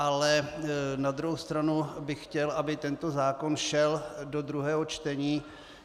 Ale na druhou stranu bych chtěl, aby tento zákon šel do druhého čtení.